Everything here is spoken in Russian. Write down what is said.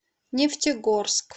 нефтегорск